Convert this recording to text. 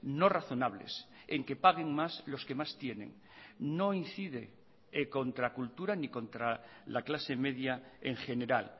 no razonables en que paguen más los que más tienen no incide contra cultura ni contra la clase media en general